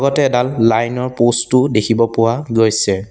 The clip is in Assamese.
কাষতে এডাল লাইন ৰ প'ষ্ট ও দেখিব পোৱা গৈছে।